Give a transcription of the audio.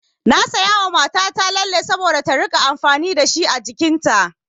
Na sayawa mata ta lalle saboda ta rinƙa amfani dashi a jikin ta.